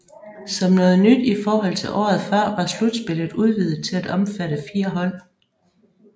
Som noget nyt i forhold til året før var slutspillet udvidet til at omfatte fire hold